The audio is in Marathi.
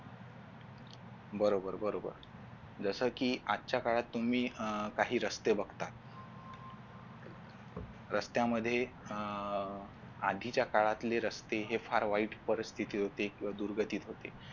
बरोबर बरोबर जसं कीआजच्या काळात तुम्ही काही रस्ते बघता रस्त्यामध्ये अह आधीच्या काळातले रस्ते हे फार वाईट परिस्थिती होती किंवा दुर्गतीत होते.